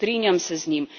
In strinjam se z njim.